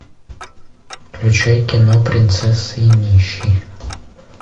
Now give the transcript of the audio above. включай кино принцесса и нищий